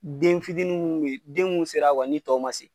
Den fitinin munnu be yen, den mun sera wa ni tɔw ma se.